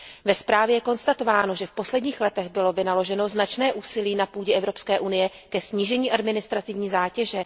Ve zprávě je konstatováno, že v posledních letech bylo vynaloženo značné úsilí na půdě Evropské unie ke snížení administrativní zátěže.